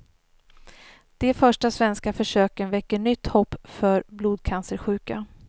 De första svenska försöken väcker nytt hopp för blodcancersjuka.